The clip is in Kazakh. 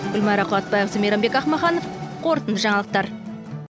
гүлмайра қуатбайқызы мейрамбек ақмаханов қорытынды жаңалықтар